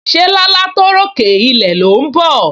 Se làálàá tó ròkè ilẹ̀ ló ń bọ̀?